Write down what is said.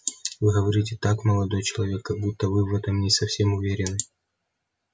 вы говорите так молодой человек как будто вы в этом не совсем уверены